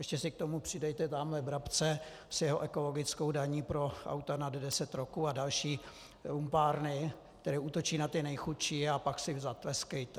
Ještě si k tomu přidejte tamhle Brabce s jeho ekologickou daní pro auta nad deset roků a další lumpárny, které útočí na ty nejchudší, a pak si zatleskejte.